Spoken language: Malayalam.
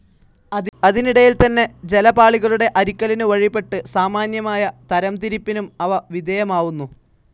അതിനിടയിൽത്തന്നെ ജലപാളികളുടെ അരിക്കലിനു വഴിപ്പെട്ട് സാമാന്യമായ തരംതിരിപ്പിനും അവ വിധേയമാവുന്നു.